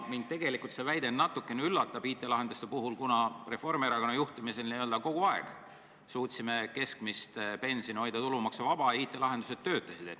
Mind tegelikult see väide IT-lahenduste kohta natukene üllatab, kuna Reformierakonna juhtimisel me suutsime kogu aeg hoida keskmist pensioni tulumaksuvabana ja IT-lahendused töötasid.